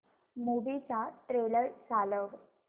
movie चा trailer चालव